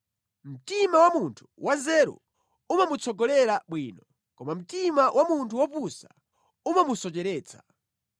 Mtima wa munthu wanzeru umamutsogolera bwino, koma mtima wa munthu wopusa umamusocheretsa.